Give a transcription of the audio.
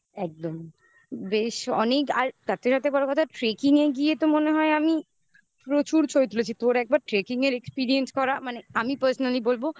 বেশ. অনিক আর তার থেকে বড় কথা tracking এ গিয়ে তো মনে হয় আমি প্রচুর ছবি তুলেছি. তোর একবার tracking এর experience করা. মানে আমি personally বলবো.